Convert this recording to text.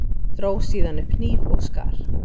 Dró síðan upp hníf og skar.